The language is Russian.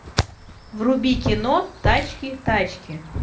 вруби кино тачки тачки